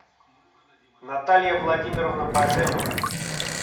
наталья владимировна баженова